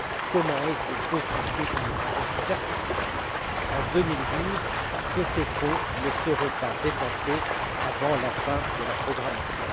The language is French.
Comment est il possible de dire avec certitude, en 2012, que ces fonds ne seront pas dépensés avant la fin de la programmation?